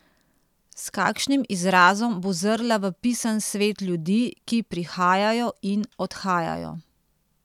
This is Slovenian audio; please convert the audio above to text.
S kakšnim izrazom bo zrla v pisan svet ljudi, ki prihajajo in odhajajo?